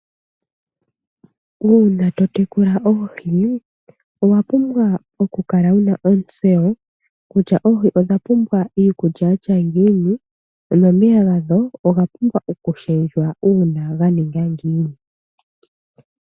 Uuna totekula oohi owa pumbwa okukala wuna ontseyo kutya oohi odha pumbwa iikulya yatya ngiini nomeya gadho oga pumbwa oku shendjwa uuna ga ninga ngiini.